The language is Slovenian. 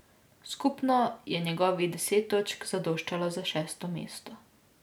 Skupno je njegovih deset točk zadoščalo za šesto mesto.